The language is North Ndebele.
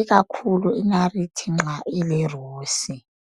ikakhulu inariti nxa ilerusi.